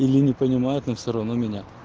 или не понимают но все равно меня